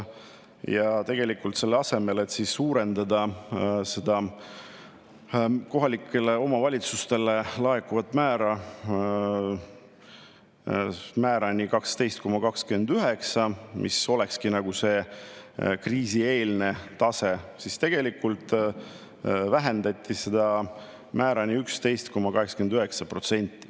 Ja tegelikult selle asemel, et suurendada kohalikele omavalitsustele laekuvat määrani 12,29%, mis olekski see kriisieelne tase, tegelikult vähendati seda määrani 11,89%.